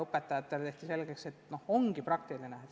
Õpetajatele tehti selgeks, et ka matemaatika on praktiline.